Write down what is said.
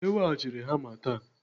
E weghachiri hama taa